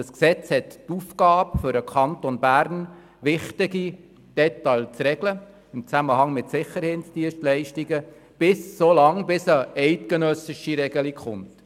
Das Gesetz hat die Aufgabe, für den Kanton Bern wichtige Details im Zusammenhang mit Sicherheitsdienstleistungen so lange zu regeln, bis eine eidgenössische Regelung gefunden wird.